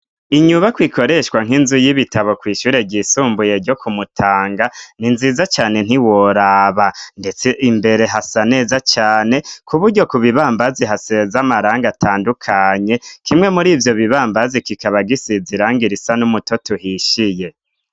Inyuba kwikoreshwa nk'inzu y'ibitabo kw'ishure ryisumbuye ryo kumutanga ni nziza cane nti woraba, ndetse imbere hasa neza cane ku buryo ku bibambazi hasez'amaranga atandukanye kimwe muri ivyo bibambazi kikaba gisizairanga ir isa n'umutot uhishiye.